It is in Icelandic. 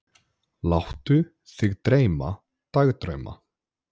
Láttu þig dreyma dagdrauma.